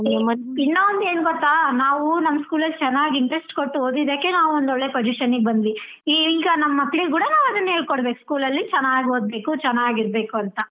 ಇನ್ನಾ ಒಂದು ಏನ್ ಗೊತ್ತಾ ನಾವು ನಮ್ school ಲಲ್ಲಿ ಚೆನ್ನಾಗಿ interest ಕೊಟ್ಟು ಓದಿದಕ್ಕೆ ನಾವ್ ಒಂದ್ ಒಳ್ಳೆ position ಗೆ ಬಂದ್ವಿ ಈಗ ನಮ್ ಮಕ್ಳಿಗ್ ಕೂಡ ನಾವ್ ಅದನ್ನೇ ಹೇಳ್ಕೋಡ್ಬೇಕು school ಅಲ್ಲಿ ಚೆನ್ನಾಗ್ ಓದ್ಬೇಕು ಚನ್ನಾಗ್ ಇರ್ಬೇಕು ಅಂತಾ.